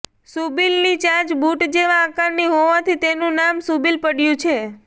શૂબિલની ચાંચ બૂટ જેવા આકારની હોવાથી તેનું નામ શૂબિલ પડયું છે